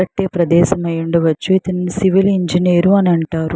కట్టే ప్రదేశం అయి ఉండవచ్చు ఇతన్ని సివిల్ ఇంజనీర్ అంటారు.